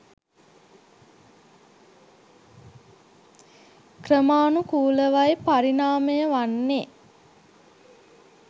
ක්‍රමානුකූලවයි පරිණාමය වන්නේ.